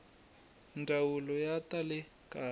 ndzawulo ya ta le kaya